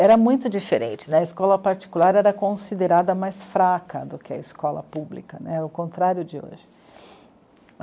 Era muito diferente, a escola particular era considerada mais fraca do que a escola pública né, o contrário de hoje.